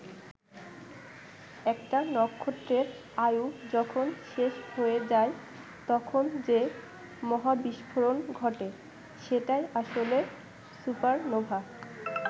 একটা নক্ষত্রের আয়ু যখন শেষ হয়ে যায়, তখন যে মহাবিস্ফোরণ ঘটে, সেটাই আসলে সুপারনোভা।